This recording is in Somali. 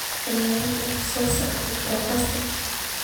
ciyaarta soo socota podcast